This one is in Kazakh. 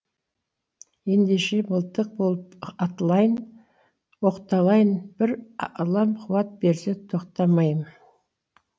ендеше мылтық болып оқталайын бір аллам қуат берсе тоқтамаймын